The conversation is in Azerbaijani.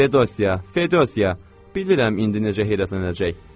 Fedosiya, Fedosiya, bilirəm indi necə heyrətlənəcək.